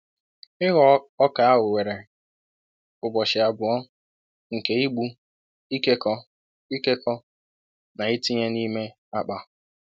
Ịghọ ọka ahụ were ụbọchị abụọ nke ịgbụ, ịkekọ, ịkekọ, na ịtinye n'ime akpa.